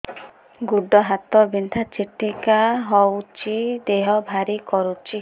ଗୁଡ଼ ହାତ ବିନ୍ଧା ଛିଟିକା ହଉଚି ଦେହ ଭାରି କରୁଚି